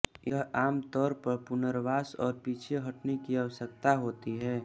यह आमतौर पर पुनर्वास और पीछे हटने की आवश्यकता होती है